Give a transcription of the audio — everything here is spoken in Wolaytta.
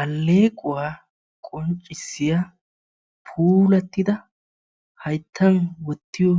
Alleequwa qonccissiya puulattida hayittan wottiyo